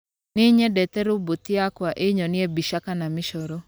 Nĩ nyendete roboti yakwa ĩnyonie mbica kana mĩcoro